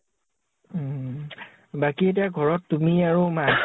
উম । বাকী এতিয়া ঘৰত তুমি আৰু মাঁ ?